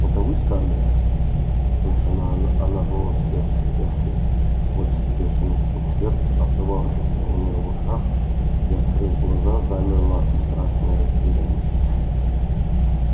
это вы скарлетт услышала она голос эшли сквозь бешеный стук сердца отдававшийся у нее в ушах и открыв глаза замерла в страшной растерянности